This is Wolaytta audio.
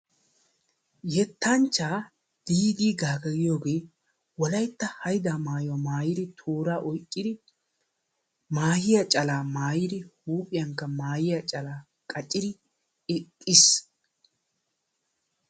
Yettanchchaa Diidii Gaagga giyogee wolaytta haydaa maayuwa maayiri, tooraa oyqqiri, maahiya calaa maayiri, huuphiyankka maahiya calaa qacciri iqqiis.